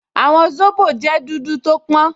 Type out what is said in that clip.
Àwọ̀ zobo jẹ́ dúdú tó pọ́n